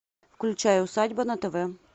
включай усадьба на тв